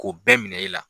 K'o bɛɛ minɛ e la